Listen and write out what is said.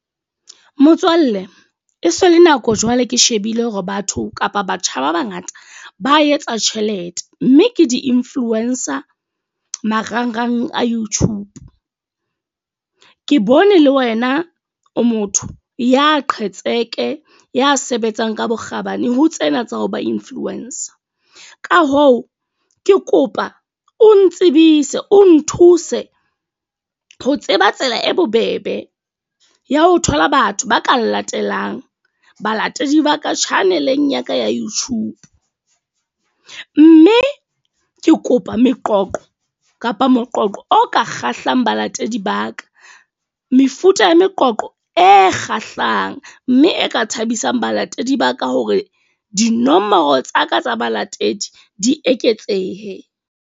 Motswalle, e se le nako jwale ke shebile hore batho kapa batjha ba bangata ba etsa tjhelete. Mme ke di influencer marangrang a YouTube. Mme ke bone le wena o motho ya qheketse, ya sebetsang ka bokgabane ho tsena tsa ho ba influencer. Ka hoo, ke kopa o ntsebise o nthuse ho tseba tsela e bobebe ya ho thola batho ba ka latelang, balatedi ba ka channel-eng ya ka ya YouTube. Mme ke kopa meqoqo kapa moqoqo o ka kgahlang balatedi ba ka. Mefuta ya moqoqo e kgahlang, mme e ka thabisang balatedi ba ka hore dinomoro tsa ka tsa balatedi di eketsehe.